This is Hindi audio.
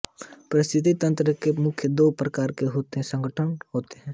पारिस्थितिक तंत्र के मुख्यतः दो प्रकार के संघटक होतें है